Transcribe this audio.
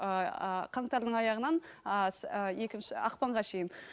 ыыы қантардың аяғынан ыыы ы екінші ақпанға шейін